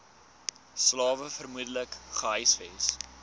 slawe vermoedelik gehuisves